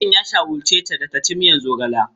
Likitan ya shawarce ta da ta ci miyar zogale.